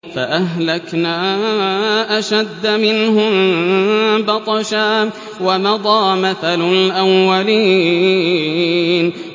فَأَهْلَكْنَا أَشَدَّ مِنْهُم بَطْشًا وَمَضَىٰ مَثَلُ الْأَوَّلِينَ